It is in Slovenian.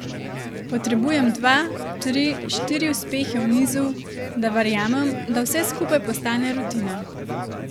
Potrebujem dva, tri, štiri uspehe v nizu, da verjamem, da vse skupaj postane rutina.